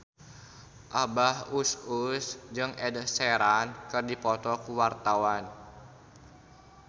Abah Us Us jeung Ed Sheeran keur dipoto ku wartawan